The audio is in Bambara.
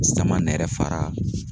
Sama nɛrɛ fara